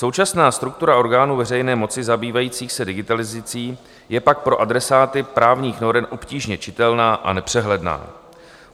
Současná struktura orgánů veřejné moci zabývající se digitalizací je pak pro adresáty právních norem obtížně čitelná a nepřehledná.